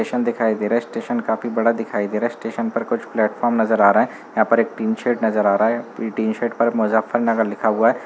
दिखाई दे रहा है। स्टेशन काफी बड़ा दिखाई दे रहा है। स्टेशन पर कुछ प्लेटफार्म नजर आ रहा हैं। यहाँ पर एक टीन शेड नजर आ रहा है। पूरी टीन शेड पर मुज़्ज़फ़्फ़रनगर लिखा हुआ है।